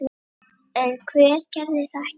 En hver gerði það ekki?